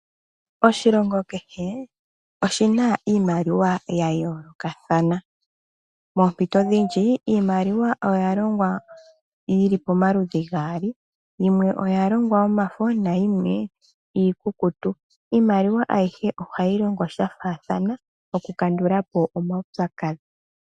Oshilongo kehe oshina iimaliwa ya yoolokathana, moompito dhimwe imaliwa oya longwa yili pamaludhi gaali, yimwe oya longwa yomafo, nayimwe iikukutu. Iimaliwa ayihe ohayi longo sha faathana, oku kandula po omaupyakadhi.